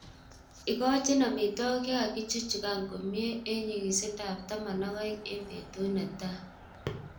Ikochin omitwokik chekakichukchukan komie en nyikisindab 12g en betut netai.